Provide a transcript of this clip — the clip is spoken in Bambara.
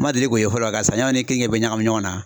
Ma deli k'o ye fɔlɔ. Ka saɲɔ ni kenike bɛɛ ɲakami ɲɔgɔn na